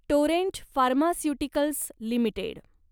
Torrent pharmaceuticals limited